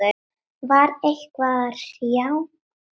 Var eitthvað að hrjá hann?